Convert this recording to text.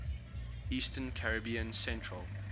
eastern caribbean central